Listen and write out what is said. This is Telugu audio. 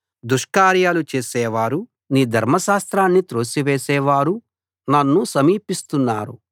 దుష్కార్యాలు చేసే వారు నీ ధర్మశాస్త్రాన్ని త్రోసివేసేవారు నన్ను సమీపిస్తున్నారు